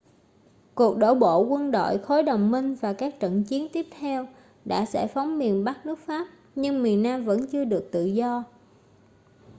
cuộc đổ bộ quân đội khối đồng minh và các trận chiến tiếp theo đã giải phóng miền bắc nước pháp nhưng miền nam vẫn chưa được tự do